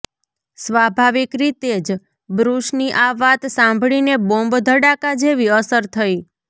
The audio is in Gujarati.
સ્વાભાવિક રીતે જ બ્રુસની આ વાત સાંભળીને બોમ્બ ધડાકા જેવી અસર થઈ